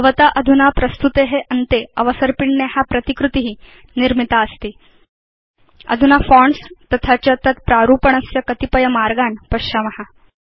भवता अधुना प्रस्तुते अन्ते अवसर्पिण्या प्रतिकृति निर्मितास्ति160 अधुना फोन्ट्स् तथा च तत् प्रारूपणस्य कतिपय मार्गान् पश्याम